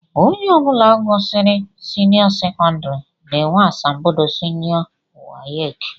Ónyé ọbula gụsịrị seniô sekondari na -enwe asambodo seniô wace.